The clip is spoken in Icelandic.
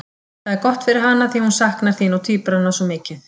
Það er gott fyrir hana því hún saknar þín og tvíburanna svo mikið.